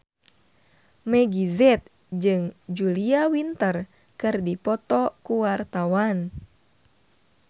Meggie Z jeung Julia Winter keur dipoto ku wartawan